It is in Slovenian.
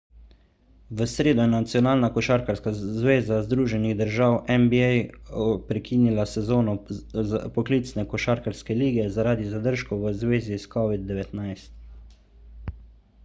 v sredo je nacionalna košarkarska zveza združenih držav nba prekinila sezono poklicne košarkarske lige zaradi zadržkov v zvezi s covid-19